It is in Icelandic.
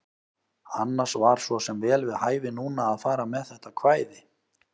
Annars var svo sem vel við hæfi núna að fara með þetta kvæði.